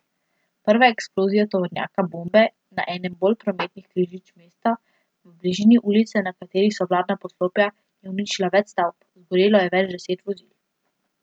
Prva eksplozija tovornjaka bombe na enem bolj prometnih križišč mesta, v bližini ulice, na kateri so vladna poslopja, je uničila več stavb, zagorelo je več deset vozil.